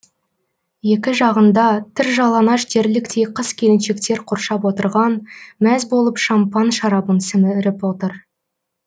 екі жағында тыржалаңаш дерліктей қыз келіншектер қоршап отырған мәз болып шампан шарабын сіміріп отыр